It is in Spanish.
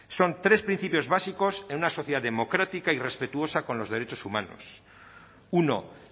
son tres principios básicos en una sociedad democrática y respetuosa con los derechos humanos uno